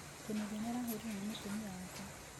Kinuthia nĩ arahũũrirũo nĩ mũtumia wake.